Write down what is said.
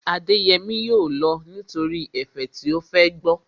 Adéyẹmí yóò lọ nítorí ẹ̀fẹ̀ tí ó fẹ́ gbọ́